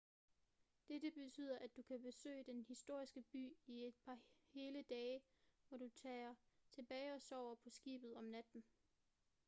dette betyder at du kan besøge den historiske by i et par hele dage hvor du tager tilbage og sover på skibet om natten